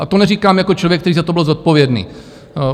A to neříkám jako člověk, který za to byl zodpovědný.